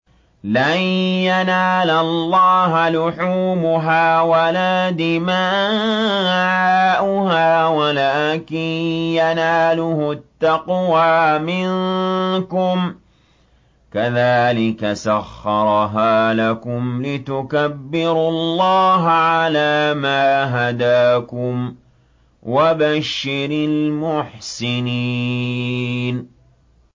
لَن يَنَالَ اللَّهَ لُحُومُهَا وَلَا دِمَاؤُهَا وَلَٰكِن يَنَالُهُ التَّقْوَىٰ مِنكُمْ ۚ كَذَٰلِكَ سَخَّرَهَا لَكُمْ لِتُكَبِّرُوا اللَّهَ عَلَىٰ مَا هَدَاكُمْ ۗ وَبَشِّرِ الْمُحْسِنِينَ